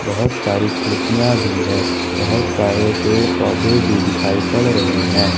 बहुत सारी खिड़कियां भी है बहुत सारे पेड़ पौधे भी दिखाई पड़ रहे हैं।